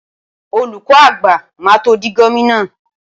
Olùkọ́ àgbà máa tó di gómìnà.